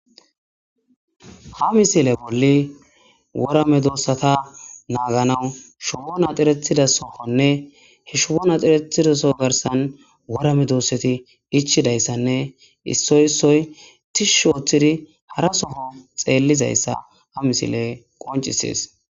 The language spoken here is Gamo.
ha misile bolli wora medoossata naaganawu shubon axiretida sohonne he showo naxiretidaso garsan worame doosseti ichidayssanne issoy issoy tishushu ooththidi hara soho xeellizayssa ha misile qoncisies